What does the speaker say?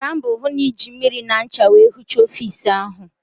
Gbaa mbọ hụ na ị na-eji mmiri na ncha wee hichaa ọfiisi ahụ!